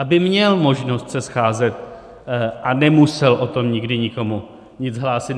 Aby měl možnost se scházet a nemusel o tom nikdy nikomu nic hlásit.